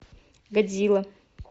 годзилла